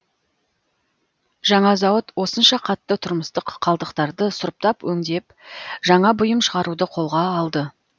жаңа зауыт осынша қатты тұрмыстық қалдықтарды сұрыптап өңдеп жаңа бұйым шығаруды қолға алды